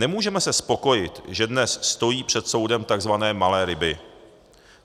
Nemůžeme se spokojit, že dnes stojí před soudem tzv. malé ryby.